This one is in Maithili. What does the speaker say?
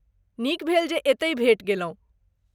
नीक भेल, जे एतहि भेटि गेलहुँ।